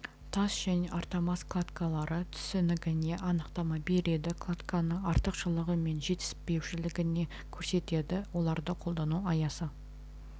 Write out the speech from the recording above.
тас және армотас кладкалары түсінігіне анықтама береді кладканың артықшылығы мен жетіспеушілігіне көрсетеді оларды қолдану аясы